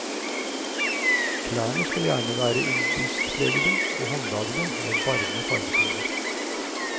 Klærne skal gjerne være indiskpregede og håndlagede, med varme farvetoner.